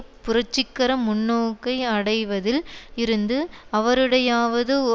புரட்சிகர முன்னோக்கை அடைவதில் இருந்து அவருடையாவது